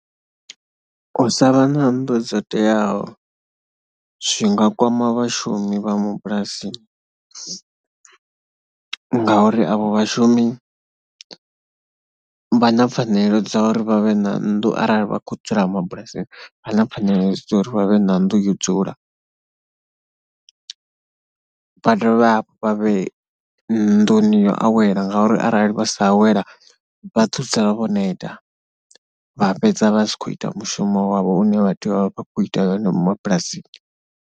U sa vha na nnḓu dzo teaho zwi nga kwama vhashumi vha mabulasini ngauri avho vhashumi vha na pfhanelo dza uri vha vhe na nnḓu, arali vha khou dzula mabulasini vha na pfhanelo dza uri vha vhe na nnḓu yo dzula. Vha dovhe hafhu vha vhe nṋduni yo awela ngauri arali vha sa awela vha ḓo dzula vho neta vha fhedza vha si khou ita mushumo wavho une vha tea u vha fha khou ita wone mabulasini.